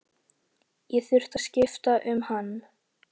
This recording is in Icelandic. Ég þurfti að skipta um hann.